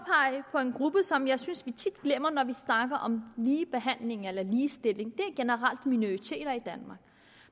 på en gruppe som jeg synes vi tit glemmer når vi snakker om ligebehandling eller ligestilling det er generelt minoriteter i danmark